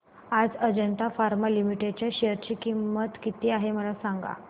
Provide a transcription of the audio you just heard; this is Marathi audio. आज अजंता फार्मा लिमिटेड च्या शेअर ची किंमत किती आहे मला सांगा